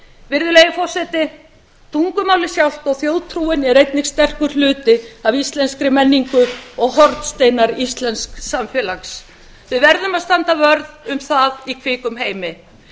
virðulegi forseti tungumálið sjálft og þjóðtrúin eru einnig sterkur hluti af íslenskri menningu og hornsteinar íslensks samfélags við verðum að standa vörð um það í kvikum heimi